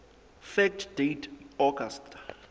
fact date august